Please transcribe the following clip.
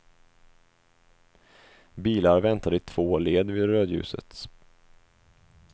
Bilar väntade i två led vid rödljuset.